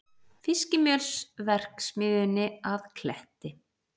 Fiskimjölsverksmiðjunni að Kletti.